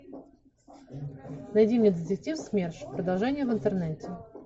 найди мне детектив смерш продолжение в интернете